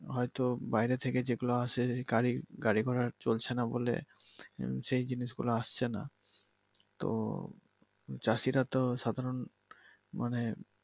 হয়তো বাহিরে থেকে যেগুলো আসে গাড়ি গাড়িঘোড়া চলছে নাহ বলে সে জিনিস গুলা আসছে নাহ তো চাষিরা তো সাধারন মানে